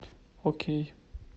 окей